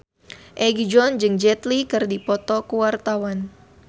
Egi John jeung Jet Li keur dipoto ku wartawan